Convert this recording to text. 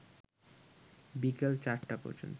বিকাল ৪টা পর্যন্ত